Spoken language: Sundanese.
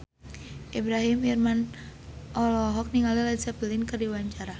Ibrahim Imran olohok ningali Led Zeppelin keur diwawancara